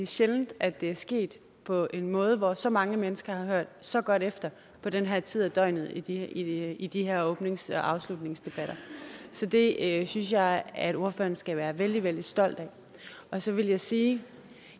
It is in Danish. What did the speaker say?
sjældent at det er sket på en måde hvor så mange mennesker har hørt så godt efter på den her tid af døgnet i i de her åbnings og afslutningsdebatter så det synes jeg at ordføreren skal være vældig vældig stolt af og så vil jeg sige